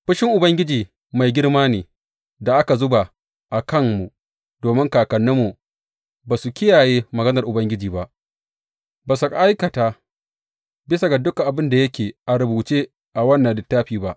Fushin Ubangiji mai girma ne da aka zuba a kanmu domin kakanninmu ba su kiyaye maganar Ubangiji ba; ba su aikata bisa ga dukan abin da yake a rubuce a wannan littafi ba.